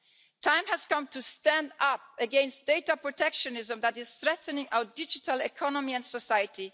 The time has come to stand up against the data protectionism that is threatening our digital economy and society.